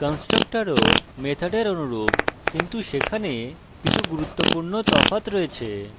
constructors মেথডের অনুরূপ কিন্তু সেখানে কিছু গুরুত্বপূর্ণ তফাৎ রয়েছে